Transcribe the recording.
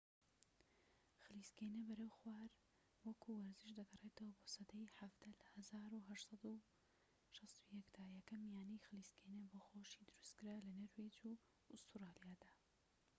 خلیسکێنە بەرەو خوار وەکو وەرزش دەگەڕێتەوە بۆ سەدەی حەڤدە لە ١٨٦١ دا یەکەم یانەی خلیسکێنە بۆ خۆشی دروستکرا لە نەرویج و ئوستورالیادا